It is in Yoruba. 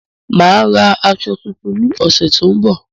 Màá rán aṣọ tuntun ní ọ̀sẹ̀ tó ń bọ̀